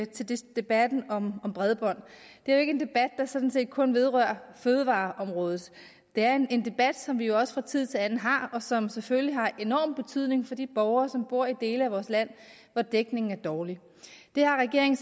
til debatten om bredbånd det er jo ikke en debat der sådan set kun vedrører fødevareområdet det er en debat som vi jo også fra tid til anden har og som selvfølgelig har enorm betydning for de borgere som bor i de dele af vores land hvor dækningen er dårlig det har regeringen